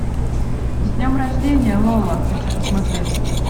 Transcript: с днем рождения лола хочу посмотреть